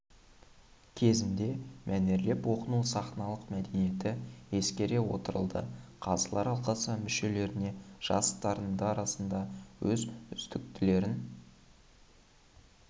кезінде мәнерлеп оқу сахналық мәдениеті ескере отырылды қазылар алқасы мүшелеріне жас дарындар арасында ең үздіктілерін